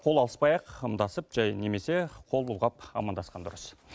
қол алыспай ақ ымдасып жай немесе қол бұлғап амандасқан дұрыс